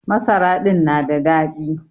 Masara din na da daɗi.